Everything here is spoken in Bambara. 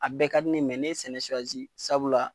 A bɛɛ ka di ne ne sɛnɛ sabula